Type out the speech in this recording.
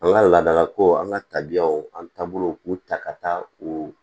An ka laadalakow an ka tabiyaw an taabolow k'u ta ka taa u